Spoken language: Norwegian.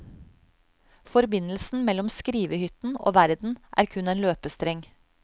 Forbindelsen mellom skrivehytten og verden er kun en løpestreng.